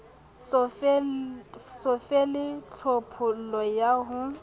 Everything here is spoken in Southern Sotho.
so fele tlhophollo ya ho